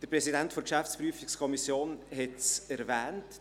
Der Präsident der GPK hat es erwähnt: